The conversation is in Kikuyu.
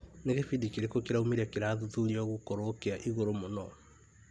Nĩ gĩbindi kĩrĩkũ kĩraumire kĩrathuthuririo gũkorwo kĩa igũrũ mũno?